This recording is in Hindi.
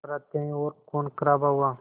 पर हत्याएं और ख़ूनख़राबा हुआ